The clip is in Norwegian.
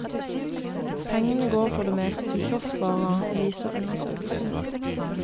Pengene går for det meste til kioskvarer, viser undersøkelsen.